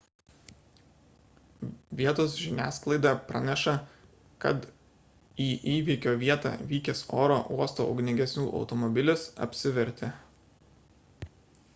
vietos žiniasklaida praneša kad į įvykio vietą vykęs oro uosto ugniagesių automobilis apsivertė